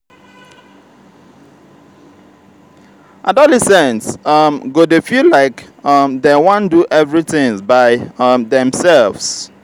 adolescents um go dey feel like um dem want do everytins by um demselves.